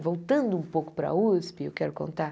Voltando um pouco para a USP, eu quero contar.